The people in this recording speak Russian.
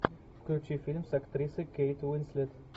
включи фильм с актрисой кейт уинслет